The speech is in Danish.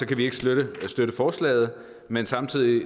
kan vi ikke støtte støtte forslaget men samtidig